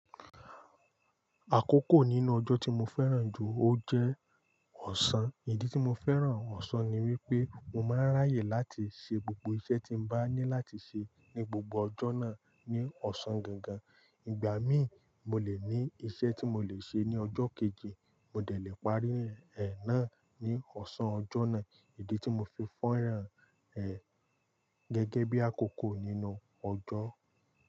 Àkókò nínú ọjọ́ tí mo fẹ́ràn jù ó jẹ́ ọ̀sán. Ìdí tí mo fẹ́ràn ọ̀sán ni wípé mo máa ń ráyè láti ṣe gbogbo iṣẹ́ tí mo bá ní láti ṣe ní gbogbo ọjọ́ náà ní ọ̀sán gangan. Ìgbà míì, mo lè ní iṣẹ́ tí mo lè ṣe ní ọjọ́ kejì, mo dẹ̀ lè parí ẹ̀ náà ní ọ̀sán ọjọ́ náà. Ìdí tí mo fi fẹ́ràn ẹ̀ gẹ́gẹ́ bí àkókò nínú ọjọ́